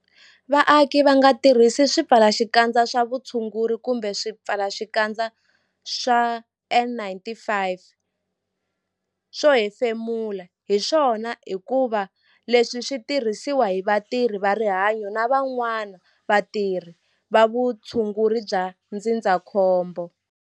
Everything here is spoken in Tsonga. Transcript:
Vaaki va nga tirhisi swipfalaxikandza swa vutshunguri kumbe swipfalaxikandza swa N-95 swo hefemula hi swona hikuva leswi swi tirhisiwa hi vatirhi va rihanyo na van'wana vatirhi va vutshunguri bya ndzindzakhombo.